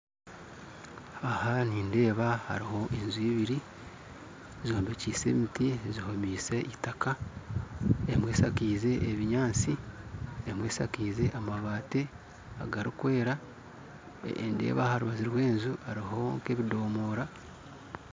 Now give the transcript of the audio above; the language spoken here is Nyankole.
Aha nindeeba hariho enju ibiri zombekyeise emiti zihomeise eitaka emwe eshakaize ebinyaatsi emwe eshakaize amabaati agarikwera ndeeba aha rubaju rw'enju hariho nka ebidomora